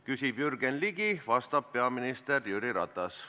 Küsib Jürgen Ligi, vastab peaminister Jüri Ratas.